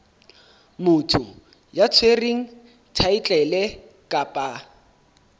motho ya tshwereng thaetlele kapa